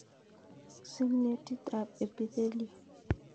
Signetit ab Epithelial